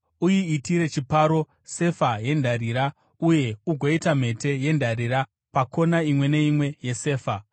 Uyiitire chiparo, sefa yendarira, uye ugoita mhete yendarira pakona imwe neimwe yesefa.